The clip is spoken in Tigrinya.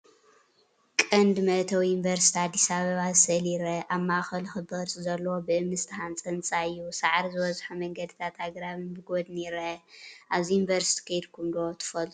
ቀንዲ መእተዊ ዩኒቨርስቲ ኣዲስ ኣበባ ኣብ ስእሊ ይርአ። ኣብ ማእከሉ ክቢ ቅርጺ ዘለዎ ብእምኒ ዝተሃንጸ ህንጻ እዩ። ሳዕሪ ዝበዝሖ መንገድታትን ኣግራብን ብጐድኒ ይርአ። ኣብዚ ዩኒቨርስቲ ከይድኩም ዶ ትፈልጡ?